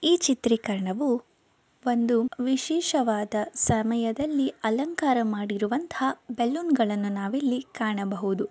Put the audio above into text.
ಈ ಚಿತ್ರೀಕರಣವೂ ಒಂದು ವಿಶೇಷವಾದ ಸಮಯದಲ್ಲಿ ಅಲಂಕಾರ ಮಾಡಿರುವಂತ ಬೆಲೂನ್ ಗಳನ್ನ ನಾವಿಲ್ಲಿ ಕಾಣಬಹುದು.